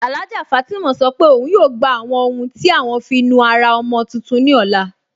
Alhájà Fátímà sọ́ pé ọun yóò gbà àwọn ọ̀hun tí à wọn fí nùárà ọ̀mọ̀ tuntun ní ọlá.